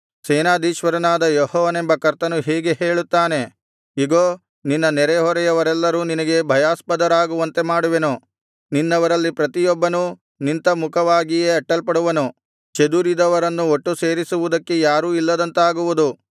ಸೇನಾಧೀಶ್ವರನಾದ ಯೆಹೋವನೆಂಬ ಕರ್ತನು ಹೀಗೆ ಹೇಳುತ್ತಾನೆ ಇಗೋ ನಿನ್ನ ನೆರೆಹೊರೆಯವರೆಲ್ಲರೂ ನಿನಗೆ ಭಯಾಸ್ಪದರಾಗುವಂತೆ ಮಾಡುವೆನು ನಿನ್ನವರಲ್ಲಿ ಪ್ರತಿಯೊಬ್ಬನು ನಿಂತಮುಖವಾಗಿಯೇ ಅಟ್ಟಲ್ಪಡುವನು ಚದುರಿದವರನ್ನು ಒಟ್ಟು ಸೇರಿಸುವುದಕ್ಕೆ ಯಾರೂ ಇಲ್ಲದಂತಾಗುವುದು